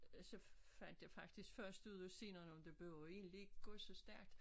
Øh så fandt jeg faktisk først ud af senere nå men det behøver jo egentlg ikke gå så stærkt